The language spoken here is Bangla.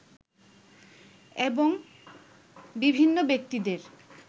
এবং বিভিন্ন ব্যক্তিদের